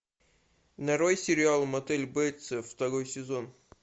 нарой сериал мотель бейтсов второй сезон